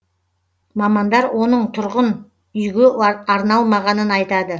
мамандар оның тұрғын үйге арналмағанын айтады